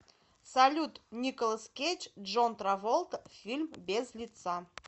салют николас кейдж джон траволта фильм без лица